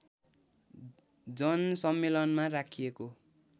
जनसम्मेलनमा राखिएको